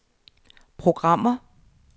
programmer